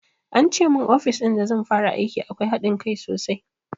Ance mun ofis in da zan fara aiki akwai haɗin kai sosai